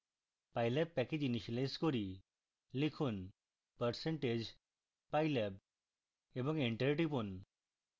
pylab package initialise করি